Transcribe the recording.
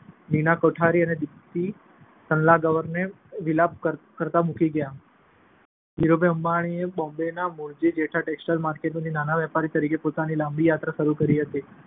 નીના કોઠારી તથા દીપ્તિ સલગાંવકરને વિલાપ કરતા મૂકી ગયા. ધીરુભાઈ અંબાણીએ બોમ્બેના મૂળજી-જેઠા ટેક્સટાઈલ માર્કેટમાંથી નાના વેપારી તરીકે પોતાની લાંબી યાત્રા શરૂ કરી હતી.